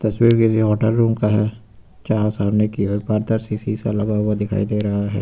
तस्वीर किसी hotel room का है जहाँ सामने की ओर पारदर्शी शीशा लगा हुआ दिखाई दे रहा है।